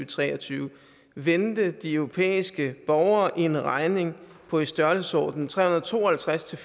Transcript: tre og tyve vente de europæiske borgere en regning på i størrelsesordenen tre hundrede og to og halvtreds til